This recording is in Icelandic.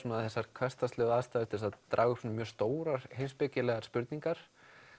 þessar hversdagslegu aðstæður til þess að draga upp mjög stórar heimspekilegar spurningar